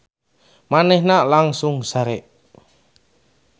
Manehna langsung sare.